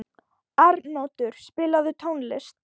Arnoddur, spilaðu tónlist.